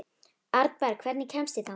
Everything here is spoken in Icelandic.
Arnberg, hvernig kemst ég þangað?